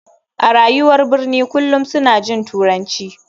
A rayuwar birni kullum suna jin turanci.